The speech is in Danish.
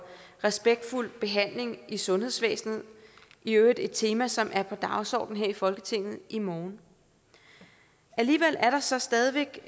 respektfuld behandling i sundhedsvæsenet i øvrigt et tema som er på dagsordenen her i folketinget i morgen alligevel er der så stadig væk